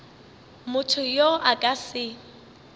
motho yo a ka se